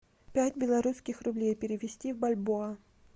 пять белорусских рублей перевести в бальбоа